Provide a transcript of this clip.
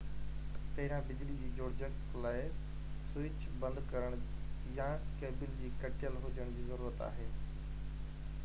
پهريان بجلي جي جوڙجَڪ لاءِ سوئچ بند ڪرڻ يا ڪيبل جو ڪَٽيل هُجڻ جي ضرورت آهي